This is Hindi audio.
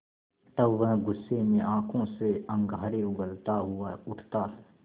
तब वह गुस्से में आँखों से अंगारे उगलता हुआ उठता है